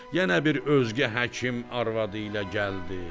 Yenə bir özgə həkim arvadı ilə gəldi.